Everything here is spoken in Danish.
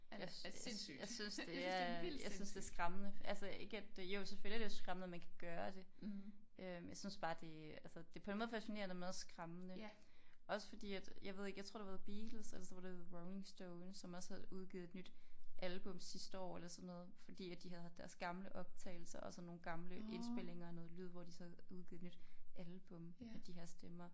Jeg jeg jeg synes det er jeg synes det er skræmmende altså ikke at jo selvfølgelig er det jo skræmmende man kan gøre det øh jeg synes bare det altså det på en måde fascinerende men også skræmmende også fordi at jeg ved ikke jeg tror det har været Beatles ellers var det Rolling Stones som også havde udgivet et nyt album sidste år eller sådan noget fordi at de havde deres gamle optagelser og så nogle gamle indspilninger og noget lyd hvor de så udgivet et nyt album af de her stemmer